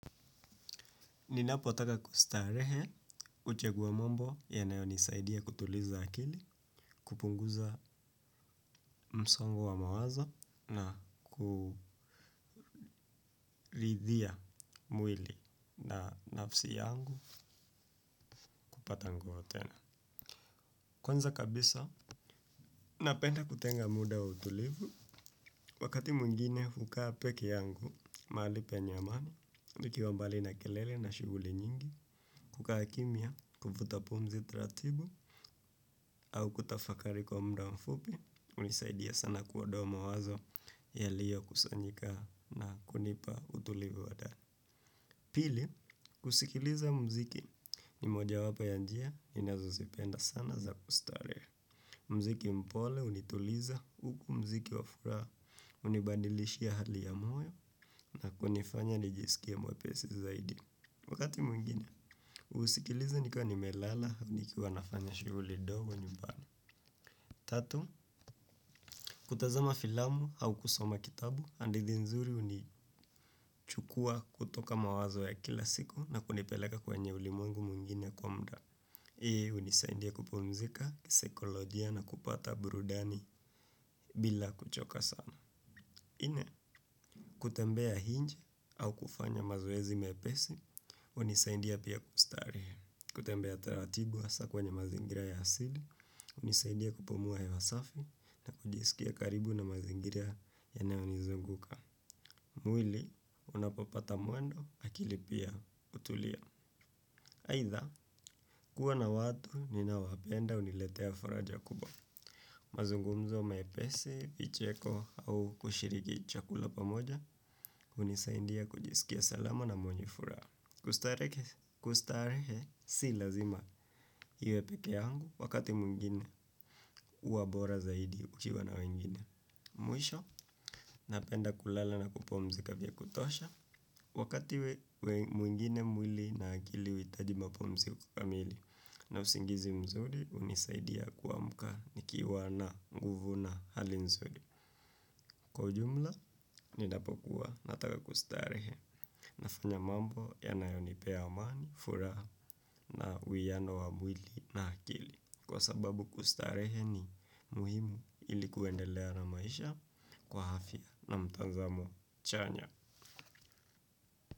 Ninapotaka kustarehe huchaguwa mambo yanayonisaidia kutuliza akili, kupunguza msongo wa mawazo na kuridhia mwili na nafsi yangu kupata nguvu tena. Kwanza kabisa, napenda kutenga muda wa utulivu, wakati mwingine hukaa pekee yangu, mali penye amani, nikiwa mbali na kelele na shughuli nyingi, kukaa kimya, kuvuta pumzi taratibu au kutafakari kwa muda mfupi, unisaidia sana kuondoa mawazo yaliyo kusanyika na kunipa utulivu wa ndani. Pili, kuskiliza mziki ni mojawapo ya njia ninazo zipenda sana za kustare. Mziki mpole hunituliza huku mziki wa furaha unibadilishia hali ya moyo na kunifanya nijisikie mwepesi zaidi. Wakati mwingine, husikiliza nikiwa nimelala, au nikiwa nafanya shughuli ndogo nyumbani. Tatu, kutazama filamu au kusoma kitabu, hadithi nzuri unichukua kutoka mawazo ya kila siku na kunipeleka kwenye ulimwengu mwingine kwa mda. Hii unisaidia kupumzika, kisekolojia na kupata burudani bila kuchoka sana. Nne kutembea nje au kufanya mazoezi mepesi, unisaidia pia kustari. Kutembea taratibu hasaa kwenye mazingira ya asili, unisaidia kupumua hewa safi na kujiskia karibu na mazingira yanayonizunguka. Mwili, unapopata mwendo, akili pia hutulia. Aidha, kuwa na watu, ninaowapenda, uniletea faraja kubwa. Mazungumzo mepesi, vicheko, au kushiriki chakula pamoja, unisaidia kujisikia salama na mwenye furaha. Kustarehe si lazima iwe pekee yangu wakati mwingine huwa bora zaidi ukiwa na wengine. Mwisho, napenda kulala na kupumzika vya kutosha. Wakati mwingine mwili na akili huitaji mapumziko kamili na usingizi mzuri unisaidia kuamuka nikiwa na nguvu na hali nzuri. Kwa ujumla, ninapokuwa nataka kustarehe nafanya mambo yanayonipea amani, furaha na uhuiano wa mwili na akili. Kwa sababu kustarehe ni muhimu ili kuendelea na maisha kwa afya na mtazamo chanya.